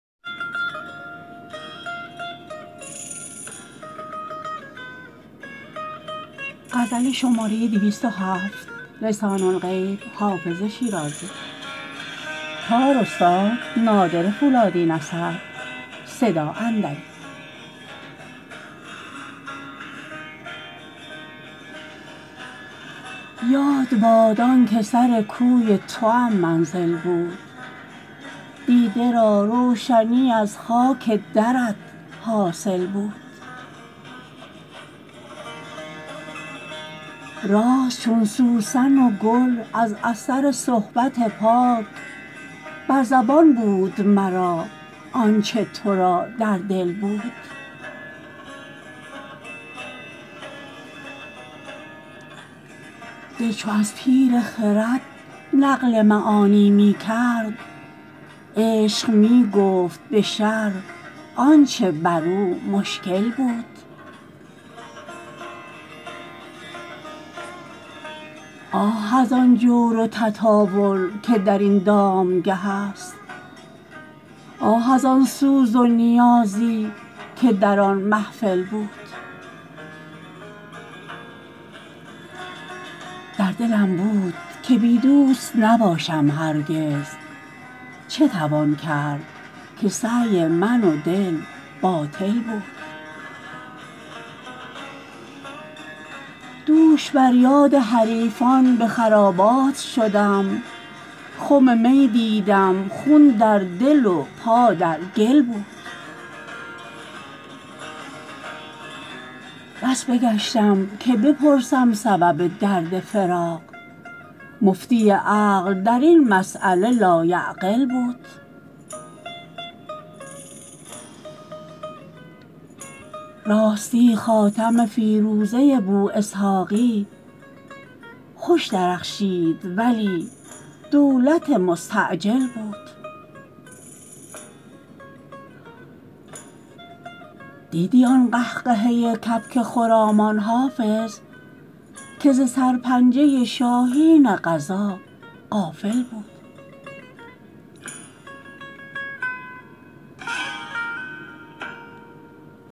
یاد باد آن که سر کوی توام منزل بود دیده را روشنی از خاک درت حاصل بود راست چون سوسن و گل از اثر صحبت پاک بر زبان بود مرا آن چه تو را در دل بود دل چو از پیر خرد نقل معانی می کرد عشق می گفت به شرح آن چه بر او مشکل بود آه از آن جور و تطاول که در این دامگه است آه از آن سوز و نیازی که در آن محفل بود در دلم بود که بی دوست نباشم هرگز چه توان کرد که سعی من و دل باطل بود دوش بر یاد حریفان به خرابات شدم خم می دیدم خون در دل و پا در گل بود بس بگشتم که بپرسم سبب درد فراق مفتی عقل در این مسأله لایعقل بود راستی خاتم فیروزه بواسحاقی خوش درخشید ولی دولت مستعجل بود دیدی آن قهقهه کبک خرامان حافظ که ز سرپنجه شاهین قضا غافل بود